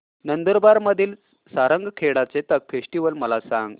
नंदुरबार मधील सारंगखेडा चेतक फेस्टीवल मला सांग